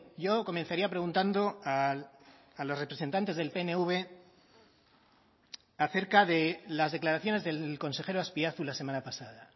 yo comenzaría preguntando a los representantes del pnv a cerca de las declaraciones del consejero azpiazu la semana pasada